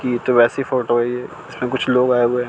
ये तो वैसी फोटो है ये इसमें कुछ लोग आए हुएं हैं।